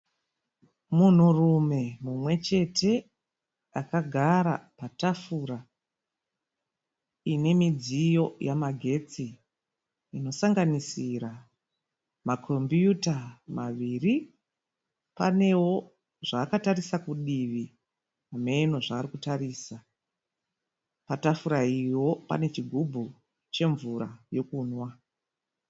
Munhurume muchete akagara patafura ine midziyo yemagetsi inosanganisira makombiyuta maviri. Panewo zvakatarisa kudivi. Hamenowo zvaari kutarisa. Patafura iyiwo pane chigubhu chemvura yekunwa.